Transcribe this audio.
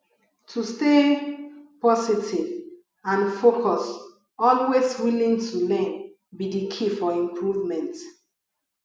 to stay positive and focus always willing to learn be di key for improvement